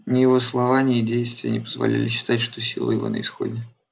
ни его слова ни действия не позволяли считать что силы его на исходе